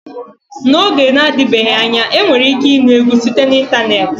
N'oge na-adịbeghị anya enwere ike ịnụ egwu site na ịntanetị.